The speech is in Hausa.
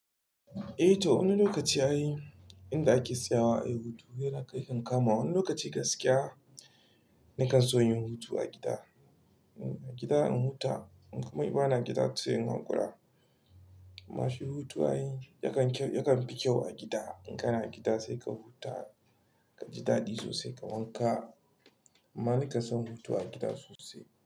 Eh to wani lokaci ai inda ake siyawa ai hutu yana kai kan kama. Wani lokaci gaskiya nakan so yin hutu a gida. A gida in huta kuma in ba na gida sai in hanƙura. Amma shi hutun ai yakan fi kyau a gida. In kana gida sai ka huta, ka ji daɗi sosai ka wanka. Amma ni kasan hutu a gida sosai.